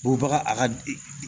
Bɔbaga a ka